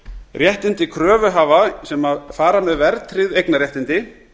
réttindi kröfuhafa sem fara með verðtryggð eignarréttindi